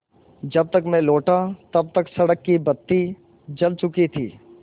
जब तक मैं लौटा तब तक सड़क की बत्ती जल चुकी थी